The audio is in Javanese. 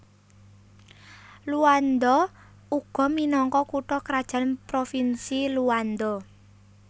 Luanda uga minangka kutha krajan Provinsi Luanda